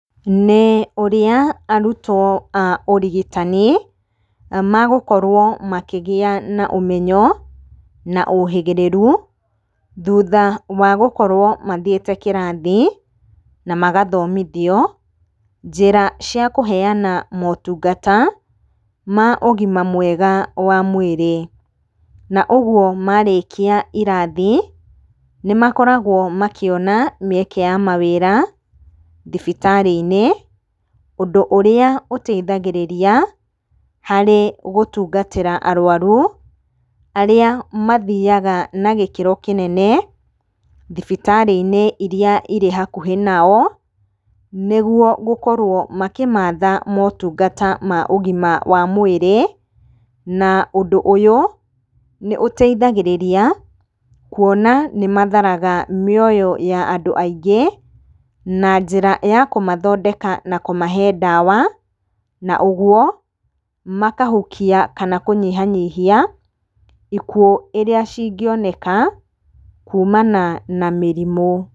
Nĩ ũrĩa arutwo a ũrigitani magũkorwo makĩgĩa na ũmenyo, na ũhĩgĩrĩru thutha wagũkorwo mathiĩte kĩrathi na magathomithio njĩra cia kũheana motungata ma ũgima mwega wa mwĩrĩ. Na ũguo, marĩkia irathi, nĩmakoragwo makĩona mĩeke ya mawĩra thibitarĩ-inĩ ũndũ ũrĩa ũteithagĩragia harĩ gũtungatĩra arũaru arĩa mathiaga na gĩkĩro kĩnene thibitarĩ-inĩ iria cirĩ hakũhĩ nao, nĩguo gũkorwo makĩmatha motungata ma ũgima wa mwĩrĩ . Na ũndũ ũyũ nĩ ũteithagĩrĩragia kuona nĩ matharaga mĩoyo ya andũ aingĩ, na njĩra ya kũmathondeka na kũmahe ndawa na ũguo makahukia kana kũnyihanyihia ikuũ iria cingĩoneka kumana na mĩrimũ.